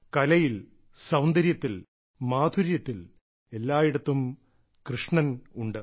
കലയിൽ സൌന്ദര്യത്തിൽ മാധുര്യത്തിൽ എല്ലായിടത്തും കൃഷ്ണൻ ഉണ്ട്